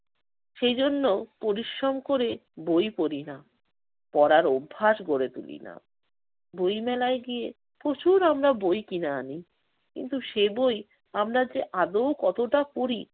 সেজন্য পরিশ্রম করে বই পড়ি না। পড়ার অভ্যাস গড়ে তুলি না। বই মেলায় গিয়ে প্রচুর আমরা বই কিনে আনি। কিন্তু সে বই আমরা যে আদৌ কতটা পড়ি